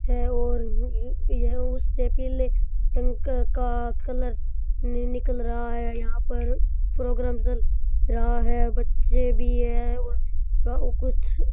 ये उससे पिले इनका का कलर नई निकल रा है यहां पर प्रोग्राम चल रहा है बच्चे भी है कुछ --